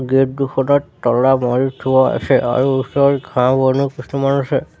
Gate দুখনত তলা মাৰি থোৱা আছে আৰু ওচৰত ঘাঁহ বনো কিছুমান আছে।